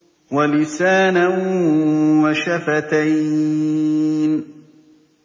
وَلِسَانًا وَشَفَتَيْنِ